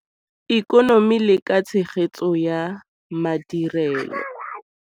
Ikonomi le ka tshegetso ya madirelo.